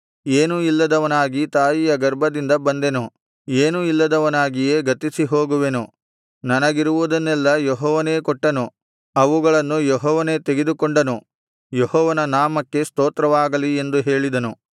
ಏನೂ ಇಲ್ಲದವನಾಗಿ ತಾಯಿಯ ಗರ್ಭದಿಂದ ಬಂದೆನು ಏನೂ ಇಲ್ಲದವನಾಗಿಯೇ ಗತಿಸಿಹೋಗುವೆನು ನನಗಿರುವುದನ್ನೆಲ್ಲ ಯೆಹೋವನೇ ಕೊಟ್ಟನು ಅವುಗಳನ್ನು ಯೆಹೋವನೇ ತೆಗೆದುಕೊಂಡನು ಯೆಹೋವನ ನಾಮಕ್ಕೆ ಸ್ತೋತ್ರವಾಗಲಿ ಎಂದು ಹೇಳಿದನು